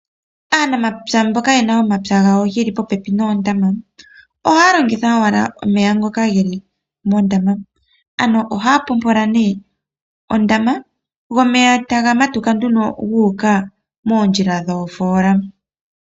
Aanamapya mbono yena omapya gawo geli popepi noondama. Ohaya longitha owala omeya ngoka geli mondama. Ano ohaya popola nee ondama go omeya taga matuka nduno guuka moondjila dhoofola.